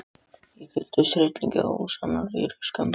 Ég fylltist hryllingi og ólýsanlegri skömm.